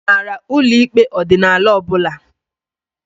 I maara ụlọ ikpe ọdịnala ọbụla?